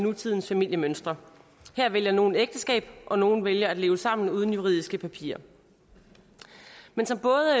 nutidens familiemønstre her vælger nogle ægteskab og nogle vælger at leve sammen uden juridiske papirer men som både